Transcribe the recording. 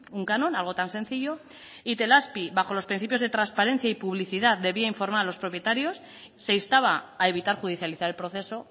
un canon algo tan sencillo itelazpi bajo los principios de transparencia y publicidad debía informar a los propietarios se instaba a evitar judicializar el proceso